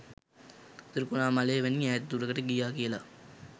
ත්‍රිකුණාමලය වැනි ඈත දුරකට ගියා කියල.